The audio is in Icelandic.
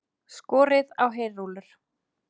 Skorið á heyrúllur